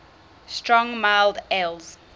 strong mild ales